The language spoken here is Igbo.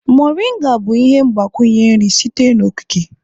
Moringa bụ ihe mgbakwunye nri sitere n'okike.